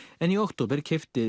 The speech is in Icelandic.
en í október keypti